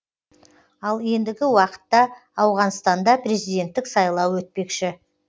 ал ендігі уақытта ауғанстанда президенттік сайлау өтпекші